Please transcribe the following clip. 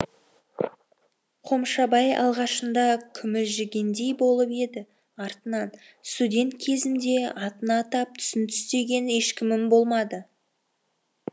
қомшабай алғашында күмілжігендей болып еді артынан студент кезімде атын атап түсін түстеген ешкімім болмады